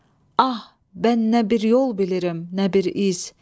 Ah, bən nə bir yol bilirəm, nə bir iz.